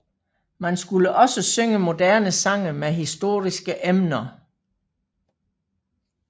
Man skulle også synge moderne sange med historiske emner